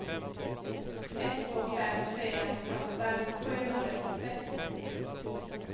ett två fem fyra nittioåtta sjuhundranittiosex